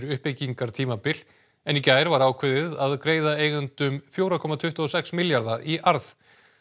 uppbyggingartímabil en í gær var ákveðið að greiða eigendum fjögurra komma tuttugu og sex milljarða í arð